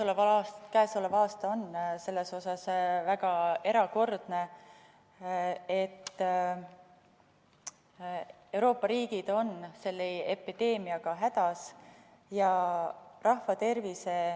Tõepoolest, käesolev aasta on selles mõttes väga erakordne, et Euroopa riigid on selle epideemiaga hädas.